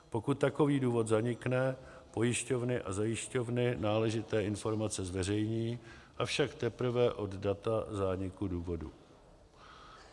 Pokud takový důvod zanikne, pojišťovny a zajišťovny náležité informace zveřejní, avšak teprve od data zániku důvodu.